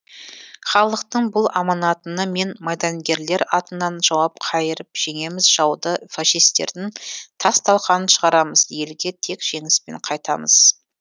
халықтың бұл аманатына мен майдангерлер атынан жауап қайырып жеңеміз жауды фашистердің тас талқанын шығарамыз елге тек жеңіспен қайтамыз